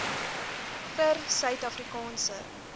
vir suid afrikaanse